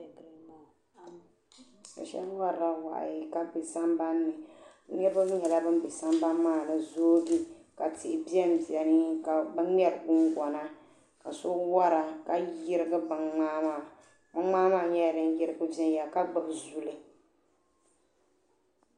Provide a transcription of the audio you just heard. Shebi warila wahi niribi nyɛla ban be sam bani maani n zooi ka tihi ben beni kabɛ mŋeri gungona kaso wara ka yirigi bɛn mŋaa maa, bɛn mŋaa maa nyala din yirigi ven yala ka gbubi zuli.